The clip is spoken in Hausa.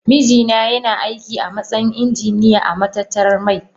Mijina yana aiki a matsayin injiniya a matatar mai.